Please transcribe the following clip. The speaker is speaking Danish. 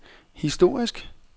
historisk